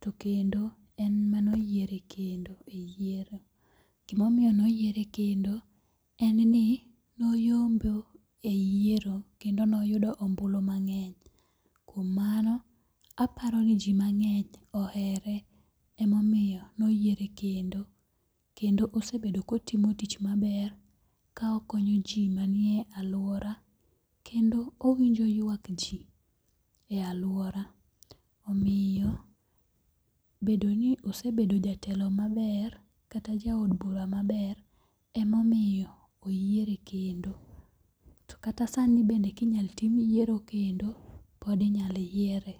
to kendo en mano yiere kendo. Gimomiyo noyiere kendo en ni noyombo e yiero kendo noyudo ombulu mang'eny. Kuom mano, aparo ni ji mang'eny ohere emomiyo noyiere kendo. Kendo osebedo kotimo tich maber kokonyo ji manie e alwora. Kendo owinjo ywak ji e alwora. Omiyo bedo ni osebedo jatelo maber kata jaod bura maber emomiyo oyiere kendo. To kata sani bende kinyalo tim yiero kendo, pod inyalo yiere.